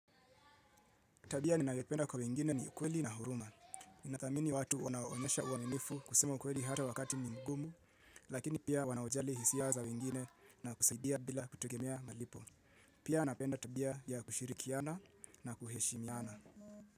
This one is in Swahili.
Tabia ninayopenda kwa wengine ni ukweli na huruma. Ninathamini watu wanaoonyesha uaminifu kusema ukweli hata wakati mgumu, lakini pia wanaojali hisia za wengine na kusaidia bila kutegemea malipo. Pia napenda tabia ya kushirikiana na kuheshimiana.